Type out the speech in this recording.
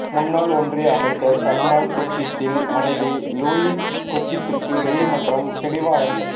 முன்னாள் ஒன்றிய அமைச்சர் சல்மான் குர்ஷித்தின் மனைவி லூாயிஸ் குர்ஷித்துக்கு நீதிமன்றம் பிடிவாரண்ட்